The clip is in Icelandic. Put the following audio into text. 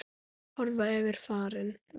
Horfa yfir farinn veg.